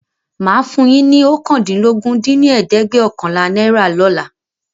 Máa fún yín ní oókàndínlógún dín ní ẹ̀ẹ́dẹ́gbẹ́ọ̀kànlá náírà lóla